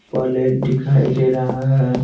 Plate दिखाई दे रहा है।